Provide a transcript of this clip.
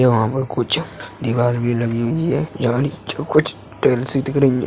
यहाँ पे कुछ दीवाल भी लगी हुई हैं। यहाँ नीचे कुछ टाइल्स सी दिख रही हैं।